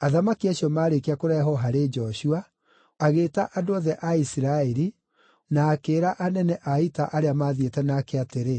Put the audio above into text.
Athamaki acio marĩkia kũrehwo harĩ Joshua, agĩĩta andũ othe a Isiraeli na akĩĩra anene a ita arĩa mathiĩte nake atĩrĩ,